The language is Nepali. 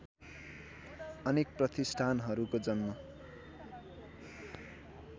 अनेक प्रतिष्ठानहरूको जन्म